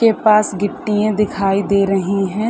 के पास गिट्टियाँ दिखाई दे रहीं हैं।